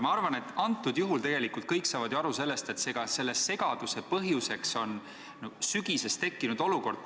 Ma arvan, et tegelikult kõik saavad ju aru, et selle segaduse põhjuseks on sügisel tekkinud olukord.